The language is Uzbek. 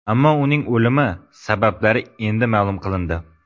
Ammo uning o‘limi sabablari endi ma’lum qilindi.